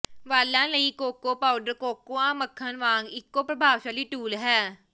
ਵਾਲਾਂ ਲਈ cocoa powder cocoa ਮੱਖਣ ਵਾਂਗ ਇਕੋ ਪ੍ਰਭਾਵਸ਼ਾਲੀ ਟੂਲ ਹੈ